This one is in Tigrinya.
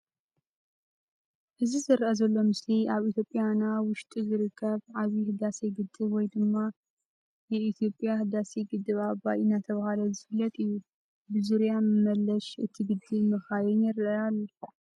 እዚ ዝርአ ዘሎ ምስሊ ኣብ ኢትዮጲያና ውሽጢ ዝርከብ "ዓብዪ ህዳሴ ግድብ "ወይ ደማ "የኢትዮጲያ ህዳሴ ግድብ ኣባይ"እናተባሃለ ዝፍለጥ እዩ። ብዙርያ መለሽ እቲ ግድብ መኻይን ይረአያ።